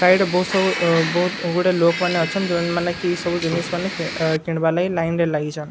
ସାଇଡ୍ ରେ ବହୁତ୍ ସବୁ ଅ ବହୁତ୍ ଗୁଡେ ଲୋକ୍ ମାନେ ଅଛନ୍ ଯେନ୍‌ ମାନେ କି ଇ ସବୁ ଜିନିସ୍ ମାନେ ଆ କିଣିବାର୍ ଲାଗି ଲାଇନ୍ ରେ ଲଗିଛନ୍ ।